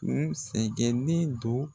Kun sɛgɛnnen don